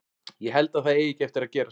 Ég held að það eigi ekki eftir að gerast.